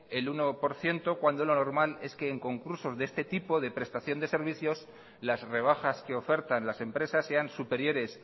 el uno por ciento cuando lo normal es que en concursos de este tipo de prestación de servicios las rebajas que ofertan las empresas sean superiores